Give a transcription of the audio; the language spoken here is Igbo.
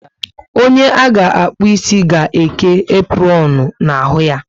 Onye a ga akpu ịsị ga eke apronu na ahụ ya